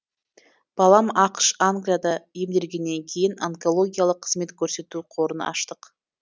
балам ақш англияда емделгеннен кейін онкологиялық қызмет көрсету қорын аштық